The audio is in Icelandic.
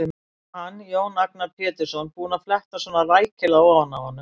Og hann, Jón Agnar Pétursson, búinn að fletta svona rækilega ofan af honum!